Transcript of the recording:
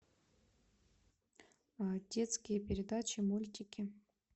детские передачи мультики